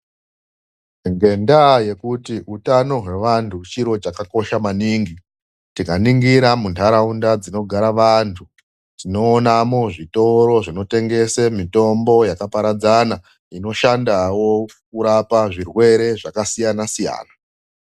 Ngendaa yekuti utano hwevantu chiro chakakosha maningi, tikaningira mundaraunda dzinogara vantu ,tonoonamo zvitoro zvinotengese mitombo yakaparadzana inoshandawo kurapa zvirwere zvakasiyanasiyana.